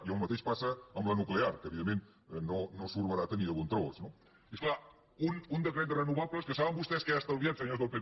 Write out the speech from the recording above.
i el mateix passa amb la nu clear que evidentment no surt barata ni de bon tros no i és clar un decret de renovables que saben vostès que ha estalviat senyors del pp